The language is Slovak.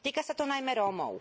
Týka sa to najmä Rómov.